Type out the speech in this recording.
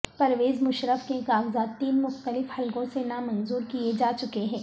پرویز مشرف کے کاغذات تین مختلف حلقوں سے نامنظور کیے جا چکے ہیں